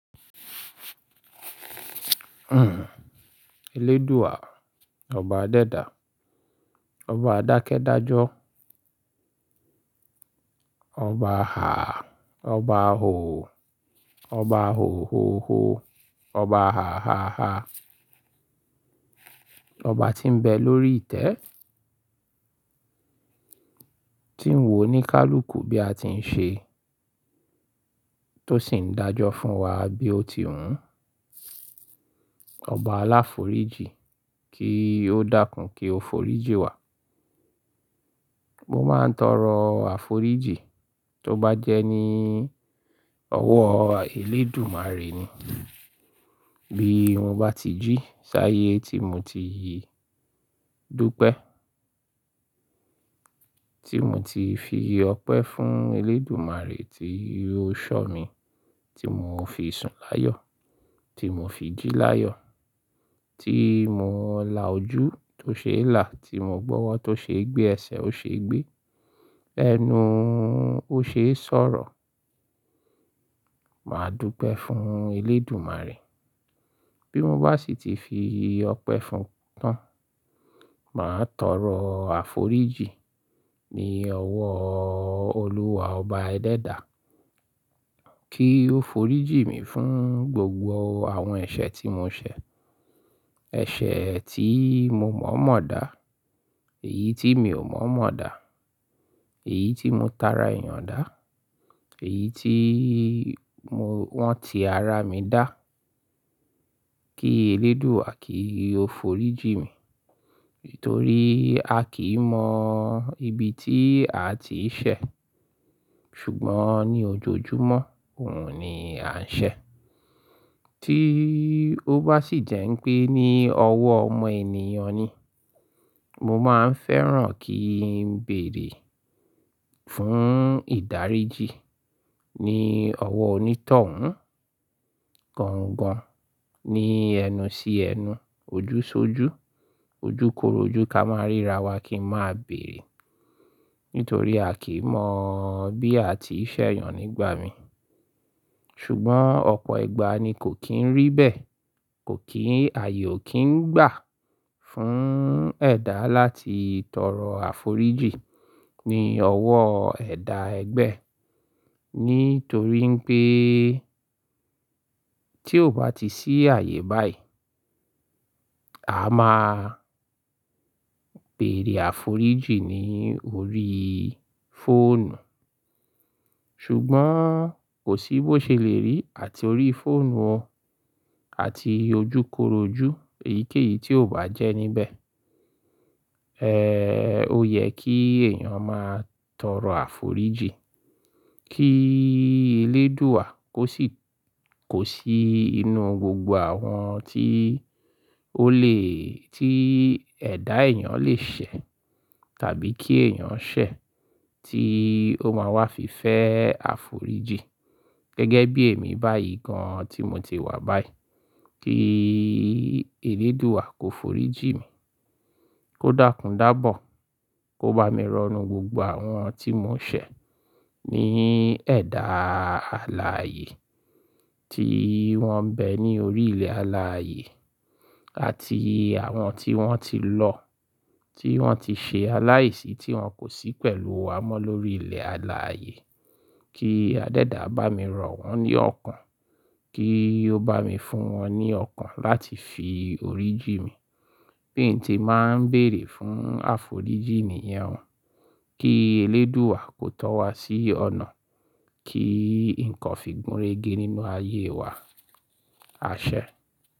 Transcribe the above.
Eléèdú à, Ọba adẹ dà, Ọba àdákẹ́ dájọ́, Ọba há, Ọba hò, Ọba hòhòhò, Ọba háháhá, Ọba tí ń bẹ lórí ìtẹ́, tí ń wò ní kálùkù bí a ti ń ṣe, tó sì ń dájọ́ fún wa bí ó ti wun. Ọba aláforíjì, kí ó dákún kí ó foríjì wá. Mo máa ń tọrọ àforíjì, tó bá jẹ́ ní ọwọ́ eléèdúmàre ni. Bí mo bá ti jí saye, tí mo ti e dúpẹ́, tí mo ti fi i ọpẹ́ fún eléèdúmàre tí ó ṣọ̀ mí, tí mo fi sùn láyọ̀, tí mo fi jí láyọ̀, tí mo la ojú tó ṣe lá, tí mo gbọ́wọ́ tó ṣe gbé ẹsẹ̀ ó ṣe gbé, ẹnu ó ṣe sọ̀rọ̀. Màá dúpẹ́ fún eléèdúmàre. Bí mo bá sì ti fi í ọpẹ́ fún tán, màá tọrọ àforíjì ní ọwọ́ olúwa ọba ẹdẹ dà. Kí ó foríjì mi fún gbogbo àwọn ẹ̀ṣẹ̀ tí mo ṣẹ̀. Ẹ̀ṣẹ̀ tí mo mọ̀mọ̀ dá, èyí tí mi ò mọ̀mọ̀ dá, èyí tí mo tara èèyàn dá, èyí tí wọ́n ti ara mi dá. Kí eléèdú à, kí ó foríjì mi. Nítorí a kì í mọ ibi tí a ti í ṣẹ̀. Ṣùgbọ́n, ní ojoojúmọ́ òhun ni à ń ṣẹ̀. Tí ó bá sì jẹ́ ń pé ní ọwọ́ ọmọ ènìyàn ni, mo máa ń fẹ́ràn kí ń bèèrè fún ìdáríjì ní ọwọ́ onítọ̀hún. Gangan ní ẹnu sí ẹnu, ojú ṣojú, ojúkorojú ká máa ríra wa kí a máa bèèrè. Nítorí a kì í mọ bí a ti í ṣẹ̀yàn nígbà mi. Ṣùgbọ́n ọ̀pọ̀ ìgbà ni kò kín rí bẹ́ẹ̀, ààyè ò kín gbà, fún ẹ̀dá láti tọrọ àforíjì ní ọwọ́ ẹ̀dá ẹgbe e. Nítorí pé tí ó bá ti sí ààyè báyìí, a máa bèèrè àforíjì ní orí fóònù. Ṣùgbọ́n kò sí bó ṣe lè rí àti orí fóònù àti ojúkorojú èyíkéyìí tí ò bá jẹ́ níbẹ̀. O yẹ kí èèyàn máa tọrọ àforíjì. Kí eléèdú à, kò sì inú gbogbo àwọn tí ẹ̀dá èèyàn lè ṣẹ̀, tàbí kí èèyàn ṣẹ̀ tí ó máa wá fi fẹ́ àforíjì. Gẹ́gẹ́ bí èmi báyìí, gan tí mo ti wá báyìí. Kí eléèdú à, kó foríjì mi. Kó dákún, dábọ̀. Kó bá mi rọnu gbogbo àwọn tí mo ṣẹ̀, ní ẹ̀dá ààlà ayé tí wọ́n bẹ ní orí ilẹ̀ ààlà ayé àti àwọn tí wọ́n ti lọ, tí wọ́n ti ṣe aláìsí tí wọ́n kò sí pẹ̀lú wa mọ́ lórí ilẹ̀ ààlà ayé. Kí adẹ́dà, bá mi rọ wọ́n ní ọ̀kán. Kí ó bá mi fún wọ́n ní ọ̀kán láti fi oríjì mi. Bí n tí màá ń bèèrè fún àforíjì nìyàn. Kí eléèdú à, kó tọ́ wa sí ọ̀nà. Kí nnkan fi gúnregé nínú ayé wa. Àṣẹ.